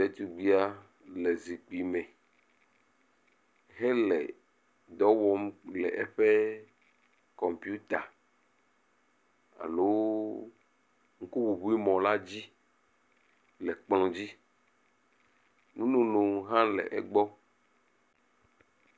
Ɖetugbia le zikpui me hele dɔ wɔm le eƒe kɔmpita alo ŋkuŋuŋumɔ la dzi le kplɔ dzi. Nu nono hã le egbɔ.